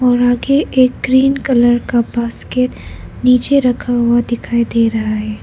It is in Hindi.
और आगे एक ग्रीन कलर का बास्केट नीचे रखा हुआ दिखाई दे रहा है।